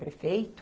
Prefeito,